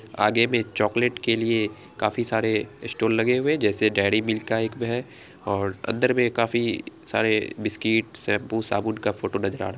आगे में चॉकलेट के लिए काफी सारे स्टॉल लगे हुए हैं जैसे डेरी मिल्क का एक है और अंदर में काफी सारे बिस्किट शैम्पू साबुन का फोटो नजर आ रहा है।